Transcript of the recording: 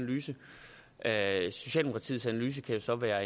analyse af det socialdemokratiets analyse kan jo så være